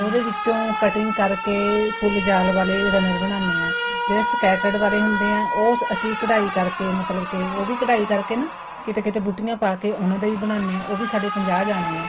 ਉਹਦੇ ਵਿੱਚੋਂ cutting ਕਰਕੇ ਫੁੱਲ ਜਾਲ ਵਾਲੇ ਦਾ runner ਬਣਾਣੇ ਹਾਂ ਜਿਹੜੇ sketched ਵਾਲੇ ਹੁੰਦੇ ਹੈ ਉਹ ਅਸੀਂ ਕਢਾਈ ਕਰਕੇ ਮਤਲਬ ਕੀ ਉਹ ਵੀ ਕਢਾਈ ਕਰਕੇ ਨਾ ਕਿੱਥੇ ਕਿੱਥੇ ਬੂਟਿਆਂ ਪਾਕੇ ਉਹਨਾ ਦਾ ਵੀ ਬਣਾਣੇ ਹਾਂ ਉਹ ਵੀ ਸਾਡੇ ਪੰਜਾਹ ਜਾਣੇ ਹੈ